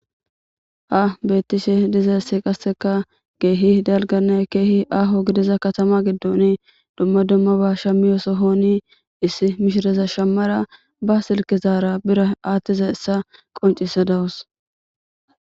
Ha betishe dizaysi qaseka kehi daliganne kehi aho gidiza katama gidon duma dumaba shamiyo sohoni issi mishreza shamara ba silkezara bira atizaysa qonc'sadawus.